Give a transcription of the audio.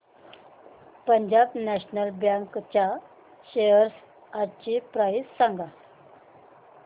Punjab National Bank च्या shares आजची price सांगा